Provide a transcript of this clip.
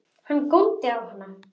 Hann góndi á hana.